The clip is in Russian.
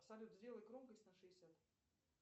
салют сделай громкость на шестьдесят